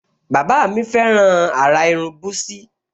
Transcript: Bàbá mi fẹ́ràn àrà irun búsí